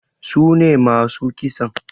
Sune masu kisan?